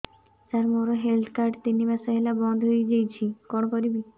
ସାର ମୋର health card ତିନି ମାସ ହେଲା ବନ୍ଦ ହେଇଯାଇଛି କଣ କରିବି